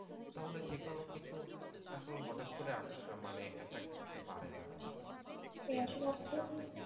তাহলে যে কোনো কিছু আসলে হটাৎ করে আ~ মানে attack করতে পারে না আরকি